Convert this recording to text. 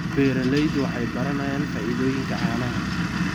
Beeraleydu waxay baranayaan faa'iidooyinka caanaha.